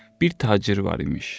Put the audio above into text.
Bir tacir var imiş.